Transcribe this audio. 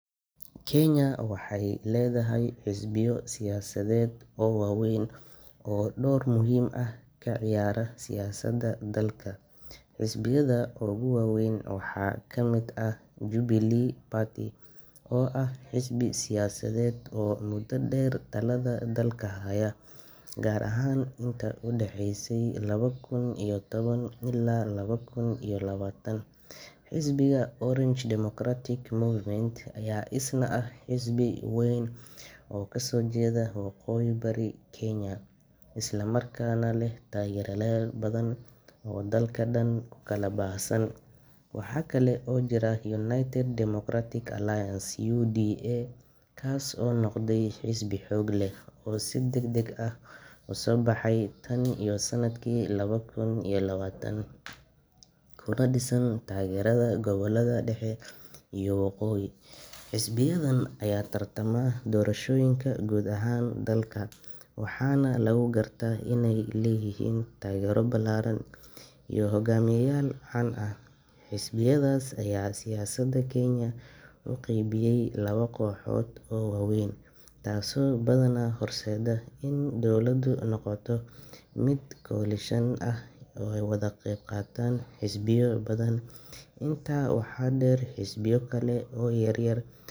Kenya waxay leedahay xisbiyo siyaasadeed oo waaweyn oo door muhiim ah ka ciyaara siyaasadda dalka. Xisbiyada ugu waaweyn waxaa kamid ah Jubilee Party, oo ah xisbi siyaasadeed oo muddo dheer talada dalka haya, gaar ahaan intii u dhexeysay laba kun iyo toban ilaa laba kun iyo labaatan. Xisbiga Orange Democratic Movement (ODM) ayaa isna ah xisbi weyn oo ka soo jeeda waqooyi bari Kenya, isla markaana leh taageerayaal badan oo dalka oo dhan ku kala baahsan. Waxaa kale oo jira United Democratic Alliance (UDA), kaas oo noqday xisbi xoog leh oo si degdeg ah u soo baxay tan iyo sanadkii laba kun iyo labaatan, kuna dhisan taageerada gobollada dhexe iyo waqooyi. Xisbiyadan ayaa ku tartama doorashooyinka guud ee dalka, waxaana lagu gartaa inay leeyihiin taagero ballaaran iyo hogaamiyeyaal caan ah. Xisbiyadaas ayaa siyaasadda Kenya u qeybiyay labo kooxood oo waaweyn, taasoo badanaa horseedda in dowladdu noqoto mid koalishan ah oo ay ka wada qeybqaataan xisbiyo badan. Intaa waxaa dheer, xisbiyo kale oo yaryar.